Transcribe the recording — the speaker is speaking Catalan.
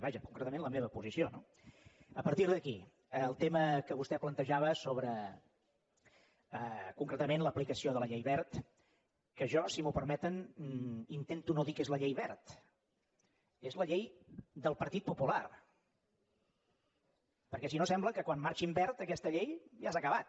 vaja concretament la meva posició no a partir d’aquí el tema que vostè plantejava sobre concretament l’aplicació de la llei wert que jo si m’ho permeten intento no dir que és la llei wert és la llei del partit popular perquè si no sembla que quan marxi en wert aquesta llei ja s’ha acabat